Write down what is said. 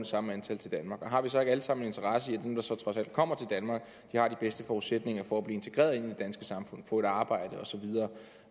samme antal til danmark og har vi så ikke alle sammen en interesse i at dem der så trods alt kommer til danmark har de bedste forudsætninger for at blive integreret i det danske samfund få et arbejde og